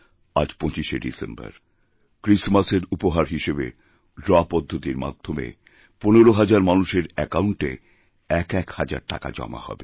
আর ২৫শে ডিসেম্বর ক্রিসমাসেরউপহার হিসেবে ড্র পদ্ধতির মাধ্যমে ১৫ হাজার মানুষের অ্যাকাউণ্টে একএক হাজারটাকা জমা হবে